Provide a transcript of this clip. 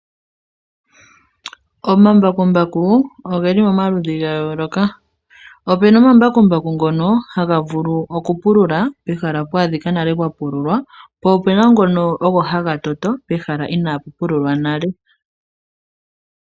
Omambakumbaku oge li momaludhi ga yooloka. Opu na omambakumbaku ngono haga vulu okupulula pehala pwa adhika pwa pululwa nale, po opu na ngono ogo haga toto pehala inaapu pululwa nale.